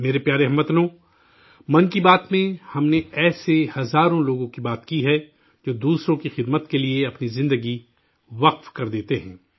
میرے پیارے ہم وطنو، 'من کی بات' میں ہم نے ایسے ہزاروں لوگوں کی چرچہ کی ہے، جو دوسروں کی خدمت کے لیے اپنی زندگی وقف کر دیتے ہیں